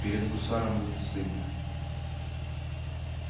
перед гусаром будет стыдно